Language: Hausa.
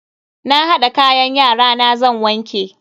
Na hada kayan yarana zan wanke.